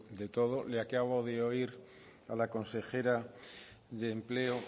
de todo le acabo de oír a la consejera de empleo